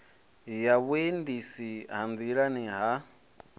ya vhuendisi ha nḓilani ha